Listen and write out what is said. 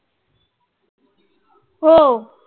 हो. अह